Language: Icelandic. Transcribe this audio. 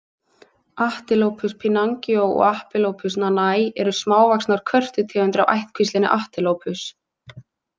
Atelopus pinangoi og Atelopus nanay eru smávaxnar körtutegundir af ættkvíslinni Atelopus.